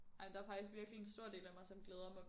Ej der er faktisk virkelig en stor del af mig som glæder mig